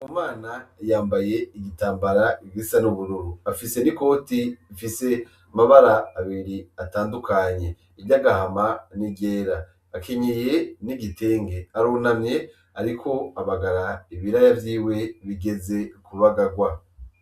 Bumana yambaye igitambara gisa n'ubururu afise n'ikoti rifise amabara abiri atandukanye iryagahama n'iryera akenyeye n'igitenge arunamye ariko abagara ibiraya vyiwe bigeze kubagarwa